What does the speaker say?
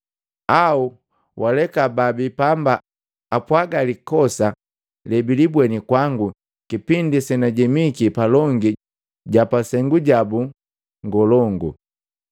Au, waleka babii pamba apwaga likosa lebilibweni kwangu kipindi senajemiki palongi japasengu jabu ngolongu,